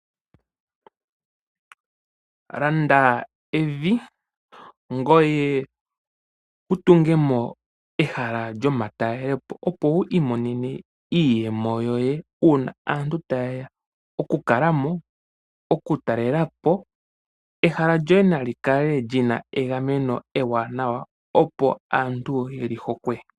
Landa evi ngoye wutungemo ehala lyomatalelepo opo wi imonenemo iiyemo yoye uuna aantu tayeya oku kalamo ,oku talelapo. Ehala lyoye nali kale lina egameno ewanawa opo aantu yeli hokwe.